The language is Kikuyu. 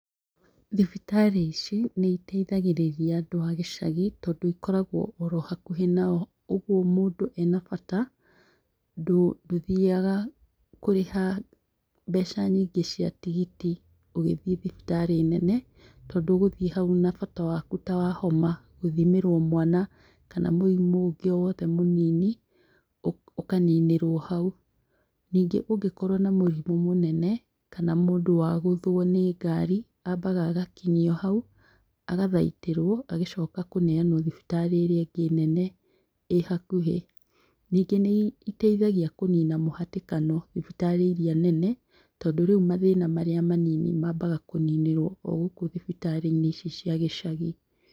Thibitarĩ ici nĩ iteithagĩrĩria andũ a gĩcagi, tondũ ikoragwo oro hakuhĩ nao, ũguo mũndũ ena bata, ndũthiaga kũrĩha mbeca nyingĩ cia tigiti ũgĩthiĩ thibitarĩ nene, tondũ ũgũthiĩ hau na bata waku ta wa homa, gũthimĩrwo mwana, kana mũrimũ ũngĩ o wothe mũnini, ũkaninĩrwo hau. Ningĩ ũngĩkorwo na mũrimũ mũnene, kana mũndũ wagũthwo nĩ ngari, ambaga agakinyio hau, agathaitĩrwo, agĩcoka kũneanwo thibitarĩ ĩrĩa ĩngĩ nene ĩ hakuhĩ. Ningĩ nĩiteithagia kũnina mũhatĩkano thibitarĩ iria nene, tondũ rĩu mathĩna marĩa manini mambaga kũninĩrwo o gũkũ thibitarĩ-inĩ ici cia gĩcagi.